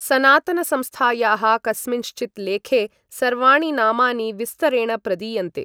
सनातनसंस्थायाः कस्मिँश्चित् लेखे सर्वाणि नामानि विस्तरेण प्रदीयन्ते।